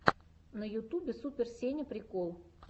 на ютубе супер сеня прикол